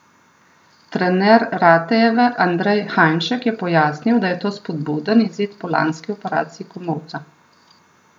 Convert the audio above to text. Trener Ratejeve Andrej Hajnšek je pojasnil, da je to spodbuden izid po lanski operaciji komolca.